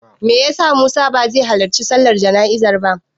Me ya sa Musa bai halarci sallar jana'izar ba?